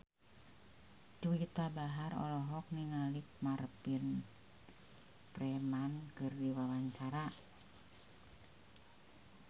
Juwita Bahar olohok ningali Martin Freeman keur diwawancara